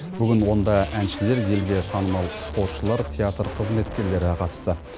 бүгін онда әншілер елге танымал спортшылар театр қызметкерлері қатысты